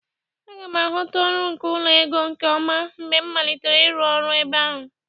A ga m aghọta ọrụ nke ụlọ ego nke ọma mgbe m malitere ịrụ ọrụ ebe ahụ